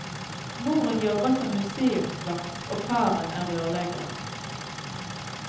Moren jobber som museumsvakt, og faren er rørlegger.